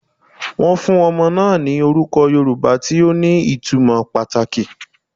Won fun omo naa ni oruko Yoruba ti o ni itumo pataki